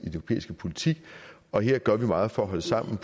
europæiske politik og her gør vi meget for at holde sammen